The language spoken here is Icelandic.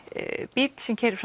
bíll sem keyrir